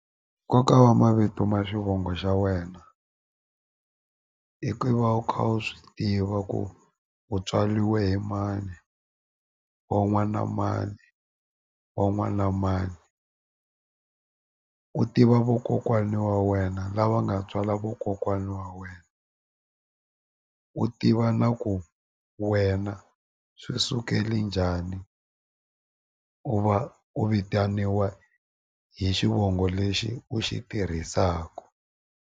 Nkoka wa mavito ma xivongo xa wena i ku va u kha u swi tiva ku u tswaliwe hi mani wa n'wana mani wa n'wana mani u tiva vokokwani wa wena lava nga tswala vokokwani wa wena u tiva na ku wena swi sukele njhani u va u vitaniwa hi xivongo lexi u xi tirhisaku.